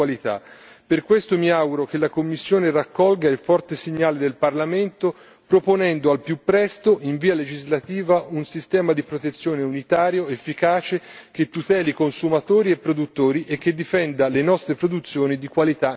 Per questo mi auguro che la Commissione raccolga il forte segnale del Parlamento proponendo al più presto in via legislativa un sistema di protezione unitario efficace, che tuteli consumatori e produttori e che difenda le nostre produzioni di qualità nel mondo.